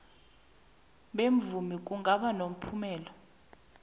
bemvumo kungaba nomphumela